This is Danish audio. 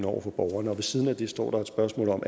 over for borgerne og ved siden af det står der et spørgsmål om